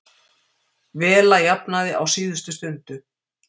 Vela jafnaði á síðustu stundu